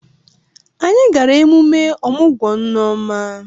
Anyị gara emume ọmụgwọ Nneoma.